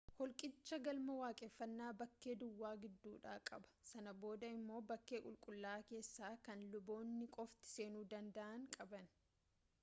holqicha galma waaqeffannaa bakkee duwwaa gidduudha qaba sana booda immoo bakkee qulqullaa'aa keessaa kan luboonni qofti seenuu danda'an qaba